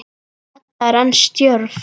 Edda er enn stjörf.